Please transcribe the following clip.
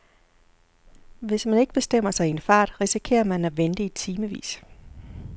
Hvis man ikke bestemmer sig i en fart, risikerer man at vente i timevis.